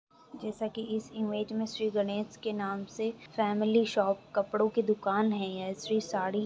जैसा कि इस इमेज में श्री गणेश के नाम से फैमिली शॉप कपड़ों की दुकान है यह श्री साड़ी --